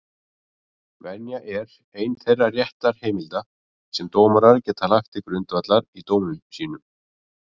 Venja er ein þeirra réttarheimilda sem dómarar geta lagt til grundvallar í dómum sínum.